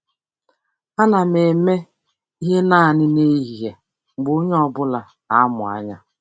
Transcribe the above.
Ana m eme ihe naanị n'ehihie mgbe onye ọ bụla na-amụ anya.